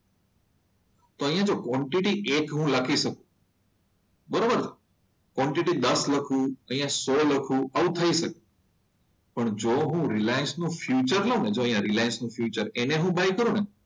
તો અહીંયા જો ક્વોન્ટિટી હું એક લખીશ. બરોબર ક્વોન્ટિટી દસ લખું અહીંયા સો લખો આવું થઈ શકે. પણ જો હું રિલાયન્સ નો ફ્યુચર લઉં ને, જો અહિયાં રિલાયન્સ નો ફ્યુચર એને હું બાય કરું ને.